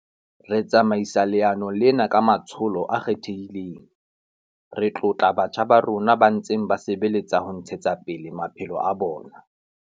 Re tsamaisa leano lena ka matsholo a kgethehileng. Re tlotla batjha ba rona ba ntseng ba sebeletsa ho ntshetsa pele maphelo a bona.